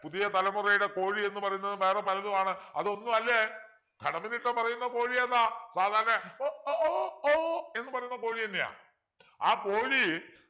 പുതിയ തലമുറയുടെ കോഴി എന്ന് പറയുന്നത് വേറെ പലതുമാണ് അതൊന്നും അല്ലേ കടമ്മനിട്ട പറയുന്ന കോഴി ഏതാ വളരെ എന്ന് പറയുന്ന കോഴി തന്നെയാ ആ കോഴി